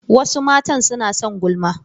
Wasu matan suna son gulma.